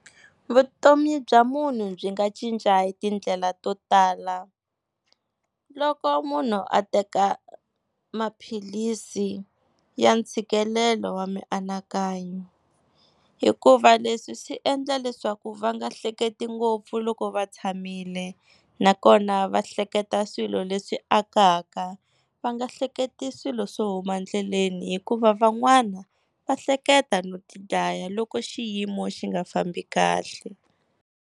Vutomi bya munhu byi nga cinca hi tindlela to tala, loko munhu a teka maphilisi ya ntshikelelo wa mianakanyo hikuva leswi swi endla leswaku va nga hleketi ngopfu loko va tshamile nakona va hleketa swilo leswi akaka, va nga hleketi swilo swo huma endleleni hikuva van'wana va hleketa no tidlaya loko xiyimo xi nga fambi kahle.